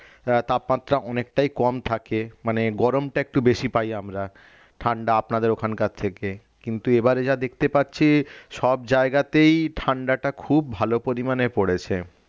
আহ তাপমাত্রা অনেকটাই কম থাকে মানে গরমটা একটু বেশি পাই আমরা ঠান্ডা আপনাদের ওখানকার থেকে কিন্তু এবারে যা দেখতে পাচ্ছি সব জায়গাতেই ঠান্ডাটা খুব ভালো পরিমানে পড়েছে